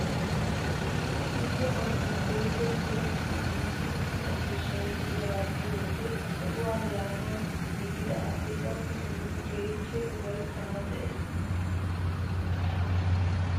Issi irzzo qottan keehippe puulatti giigi uttida ciishshay de'iyaagaa be'iyoo wode ha sohuwaa yaanawu giigida asi gakki simmidi keehippe upaytanawu de'ees!